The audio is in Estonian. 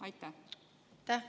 Aitäh!